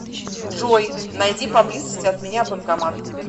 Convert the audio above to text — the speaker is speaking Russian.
джой найди поблизости от меня банкомат